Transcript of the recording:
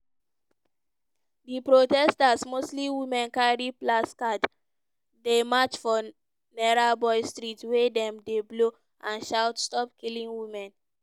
di protesters mostly women carry placards dey march for nairobi street wia dem dey blow and shout "stop killing women!"